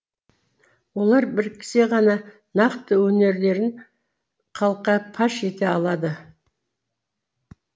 олар біріксе ғана нақты өнерлерін халыққа паш ете алады